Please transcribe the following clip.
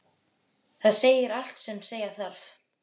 Það segir allt sem segja þarf.